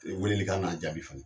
weleli kan ka jaabi fana.